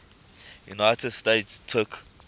united states took